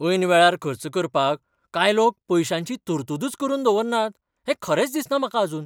ऐन वेळार खर्च करपाक कांय लोक पयशांची तरतूदच करून दवरनात हें खरेंच दिसना म्हाका आजून.